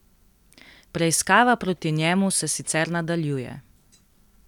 Preiskava proti njemu se sicer nadaljuje.